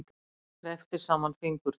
Kreppti saman fingurna.